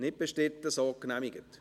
– Nicht bestritten, so genehmigt.